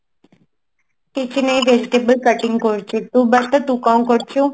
କିଛି ନାଇଁ vegetable cutting କରୁଛି ତୁ ବତା ତୁ କଣ କରୁଛୁ